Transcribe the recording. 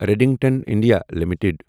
Redington India limited